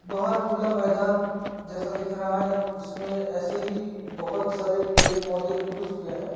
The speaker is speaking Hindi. बहार खुला मैदान जैसा दिख रहा है उसमें ऐसे ही बहोत सारे पेड़ पौधे उग चुके हैं।